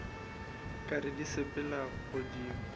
ka re di sepela godimo